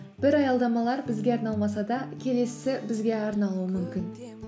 бір аялдамалар бізге арналмаса да келесісі бізге арналуы мүмкін